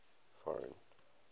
foreign